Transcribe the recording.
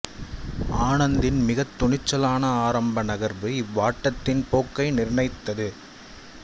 ஆனந்த்தின் மிகத் துணிச்சலான ஆரம்ப நகர்வு இவ்வாட்டத்தின் போக்கை நிர்ணயித்தது